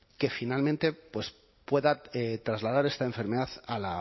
que finalmente pueda trasladar esta enfermedad a